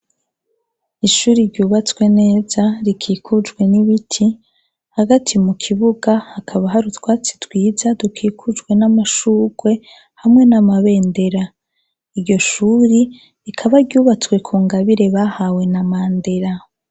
Ishuri ryubatswe neza, rikikujwe n'ibiti, hagati mu kibuga, hakaba hari utwatsi twiza, dukikujwe n'amashurwe, hamwe n'amabendera. Iryo shuri rikaba ryubatswe ku ngabire bahawe na Mandela.